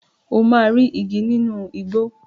O máa rí igi nínú igbó.